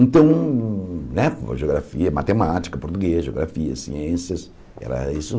Então, né ageografia, matemática, português, geografia, ciências, era isso.